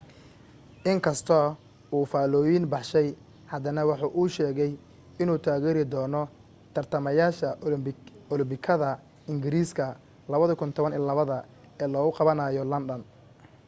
in kastoo uu faalllooyin baxshay haddana waxa uu sheegay inuu taageeri doono tartamayaasha olambikada ingiriiska 2012 ee lagu qabanayo london